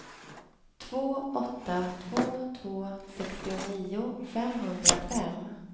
två åtta två två sextionio femhundrafem